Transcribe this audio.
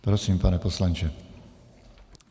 Prosím, pane poslanče.